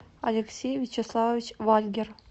алексей вячеславович вальгер